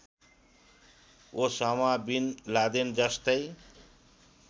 Osama bin लादेनजस्तै